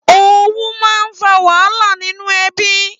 Ówù mà n fà wàhálá sinú èbí